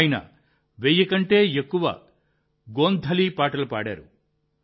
ఆయన 1000 కంటే ఎక్కువ గోంధలీ పాటలు పాడారు